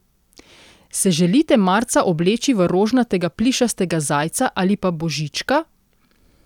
Se želite marca obleči v rožnatega plišastega zajca ali pa božička?